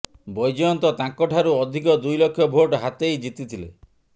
ବୈଜୟନ୍ତ ତାଙ୍କଠାରୁ ଅଧିକ ଦୁଇ ଲକ୍ଷ ଭୋଟ ହାତେଇ ଜିତିଥିଲେ